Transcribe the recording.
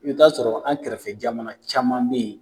I bɛ ta sɔrɔ an kɛrɛfɛ jamana caman bɛ yen.